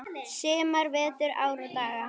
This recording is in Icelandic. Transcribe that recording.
sumar, vetur, ár og daga.